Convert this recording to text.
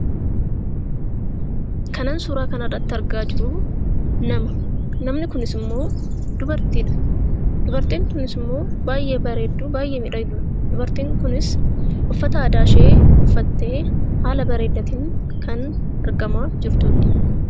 Kanan suuraa kanarratti argaa jiru nama. Namni kunis immoo dubartiidha. Dubartiin kunis immoo baay'ee bareedduudha baay'ee miidhagduudha. Dubartiin kunis uffata aadaa ishee uffattee haala bareedaatiin kan taa'aa jirtuudha.